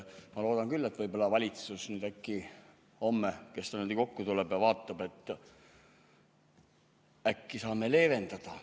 Ma loodan küll, et kui valitsus homme kokku tuleb, siis vaatab, et äkki saame leevendada.